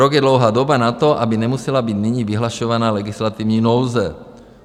Rok je dlouhá doba na to, aby nemusela být nyní vyhlašovaná legislativní nouze.